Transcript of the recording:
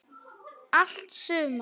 Allt sumar